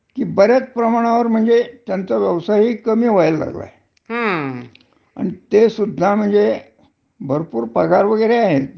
हो, बरोबरे मधे आपण पेपरमध्ये ही वाचलाचं की किती बातम्या होत्या. हा, हा. की त्याने खूप म्हणजे त्यांनी हेच करून टाकलय, खूप कपात केलीये.